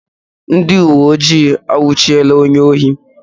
Ndị uweojii anwụchiela onye ohi